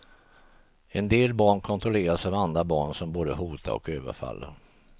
En del barn kontrolleras av andra barn som både hotar och överfaller.